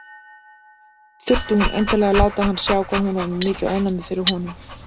Þurfti hún endilega að láta hann sjá hvað hún var með mikið ofnæmi fyrir honum!